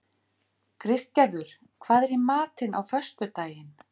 Kristgerður, hvað er í matinn á föstudaginn?